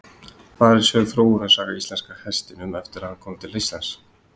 þar er sögð þróunarsaga íslenska hestinum eftir að hann kom til landsins